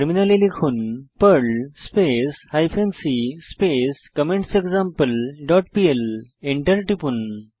টার্মিনালে লিখুন Perl space hyphen c space comments example dot PL enter টিপুন